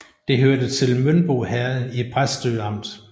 Det hørte til Mønbo Herred i Præstø Amt